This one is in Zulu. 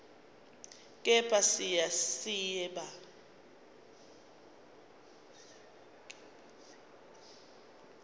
kepha siya siba